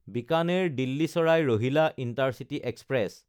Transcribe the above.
বিকানেৰ–দিল্লী চাৰাই Rohilla intercity express